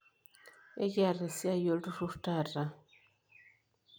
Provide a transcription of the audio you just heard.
Ekiaata esiai olturur taata?